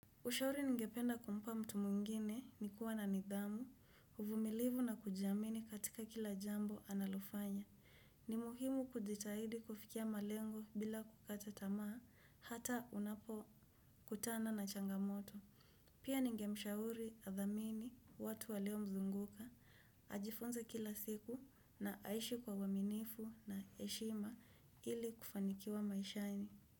Ushauri ningependa kumpa mtu mwngine ni kuwa na nidhamu, uvumilivu na kujamini katika kila jambo analofanya. Ni muhimu kujitahidi kufikia malengo bila kukata tamaa hata unapokutana na changamoto. Pia ningemshauri athamini watu waliomzunguka, ajifunze kila siku na aishi kwa uaminifu na heshima ili kufanikiwa maishani.